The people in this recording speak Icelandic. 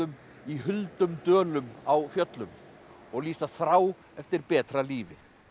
í huldum dölum á fjöllum og lýsa þrá eftir betra lífi